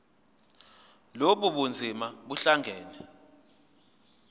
lobu bunzima buhlangane